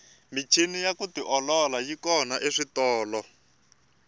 michini ya ku tiolola yi kona eswitolo